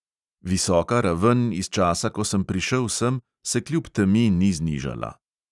Visoka raven iz časa, ko sem prišel sem, se kljub temi ni znižala.